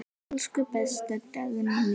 Elsku besta Dagný mín.